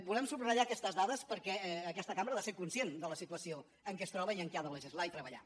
volem subratllar aquestes dades perquè aquesta cambra ha de ser conscient de la situació amb què es troba i en què ha de legislar i treballar